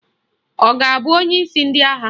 Ọ ga-abụ onyeisi ndị agha?